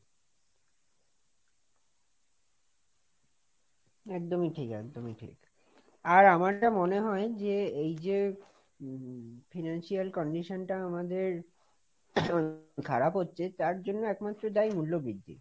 একদমই ঠিক, একদমই ঠিক, আর আমার যা মনে হয় যে এই যে উম financial condition টা আমাদের খারাপ হচ্ছে, তার জন্য একমাত্র দায়ী মূল্যবৃদ্ধি।